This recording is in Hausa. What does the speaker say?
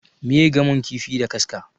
Miye gamon kifi da kaska?